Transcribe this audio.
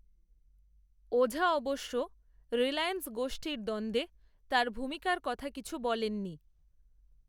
ওঝা অবশ্য, রিলায়েন্স গোষ্ঠীর দ্বন্দ্বে, তাঁর ভূমিকার কথা কিছু বলেননি